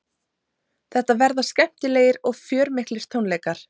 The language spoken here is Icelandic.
Þetta verða skemmtilegir og fjörmiklir tónleikar